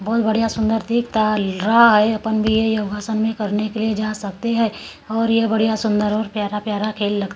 बहुत बढ़िया सुंदर रहा है अपन भी ये योगासन में करने के लिए जा सकते है और यह बढ़िया सुंदर और प्यारा प्यारा खेल लग--